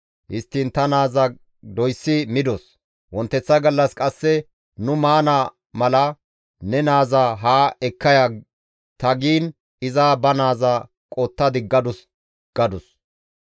Histtiin ta naaza doysi midos. Wonteththa gallas qasse nu maana mala, ‹Ne naaza haa ekka ya› ta giin iza ba naaza qotta diggadus» gadus.